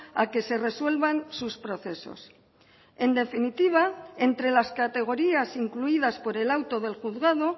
a que se resuelvan sus procesos en definitiva entre las categorías incluidas por el auto del juzgado